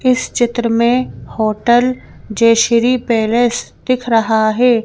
इस चित्र में होटल जेशरी पैलेस दिख रहा है।